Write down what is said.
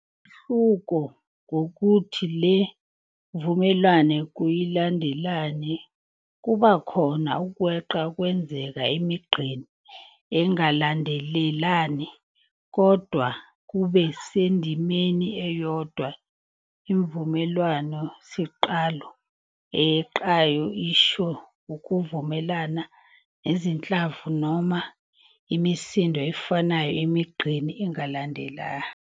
Umehluko ngukuthi le mvumelwano kayilandelani, kubakhona ukweqa okwenzeka emigqeni engalandelani kodwa kube sendimeni eyodwa. Imvumelwano siqalo eyeqayo isho ukuvumelana kwezinhlamvu noma imisindo efanayo emigqeni engalandelani.